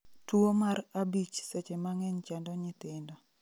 Tuwo mar abich seche ma ng'eny chando nyithindo